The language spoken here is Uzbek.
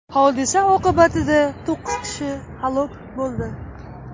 Hodisa oqibatida to‘qqiz kishi halok bo‘ldi.